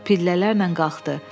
Pillələrlə qalxdı.